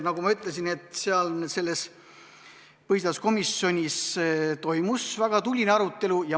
Nagu ma ütlesin, toimus väga tuline arutelu.